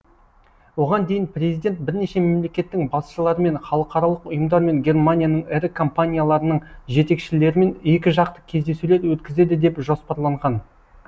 оған дейін президент бірнеше мемлекеттің басшыларымен халықаралық ұйымдар мен германияның ірі компанияларының жетекшілерімен екіжақты кездесулер өткізеді деп жоспарланған